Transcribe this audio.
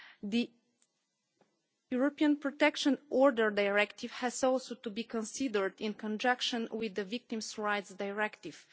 The European Protection Order Directive has to be considered in conjunction with the Victims' Rights Directive.